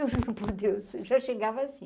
Eu juro por deus, eu já chegava assim.